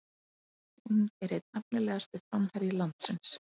Hún er einn efnilegasti framherji landsins